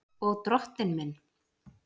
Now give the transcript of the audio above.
Og Drottinn minn!